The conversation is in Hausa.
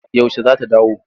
Yaushe za ta dawo?